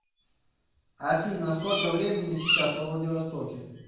афина сколько времени сейчас во владивостоке